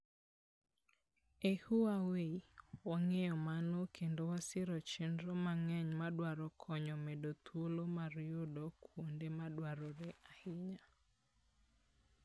E Huawei, wang'eyo mano kendo wasiro chenro mang'eny ma dwaro konyo medo thuolo mar yudo kuonde ma dwarore ahinya